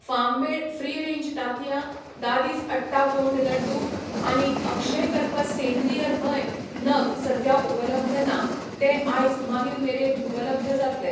Farm made free range तातयां, दादीज अट्टा गोंड लड्डू आनी अक्षयकल्प सेंद्रीय धंय नग सद्या उपलब्ध ना, ते आयज मागीर मेरेन उपलब्ध जातले.